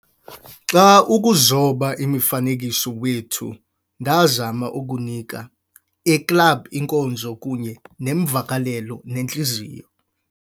Xa ukuzoba imifanekiso wethu, ndazama ukunika- a club inkonzo kunye neemvakalelo nentliziyo"